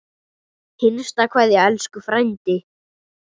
HINSTA KVEÐJA Elsku frændi.